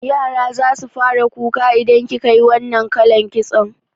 Yara zasu fara kuka idan kikayi wannan kalan kitson